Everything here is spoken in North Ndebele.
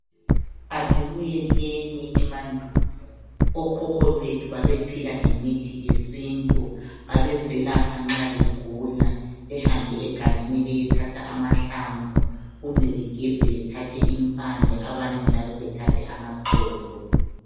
Asibuyeleni emandulo okhokho bethu babezelapha ngemithi yesintu nxa begula, behambe egangeni bayethatha amahlamnvu kumbe begebhe bethathe impande lamaxolo.